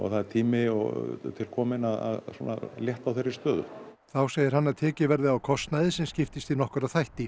það er tími til kominn að létta á þeirri stöðu þá segir hann að tekið verði á kostnaði sem skiptist í nokkra þætti